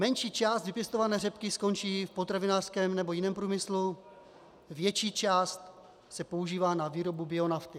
Menší část vypěstované řepky skončí v potravinářském nebo jiném průmyslu, větší část se používá na výrobu bionafty.